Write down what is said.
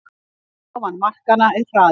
Ofan markanna er hraði